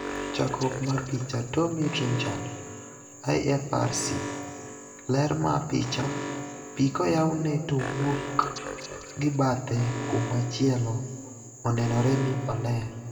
Chakruok mar picha, Tommy Trenchard / IFRC. Ler ma picha, Pii koywne to owuok gi bathe kumachielo onenore ni oler.